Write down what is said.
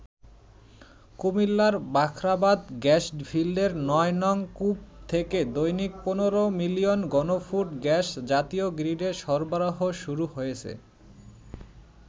কুমিল্লার বাখরাবাদ গ্যাস ফিল্ডের ৯নং কূপ থেকে দৈনিক ১৫ মিলিয়ন ঘনফুট গ্যাস জাতীয় গ্রীডে সরবরাহ শুরু হয়েছে।